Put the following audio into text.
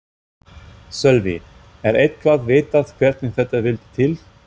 Sölvi: Er eitthvað vitað hvernig þetta vildi til?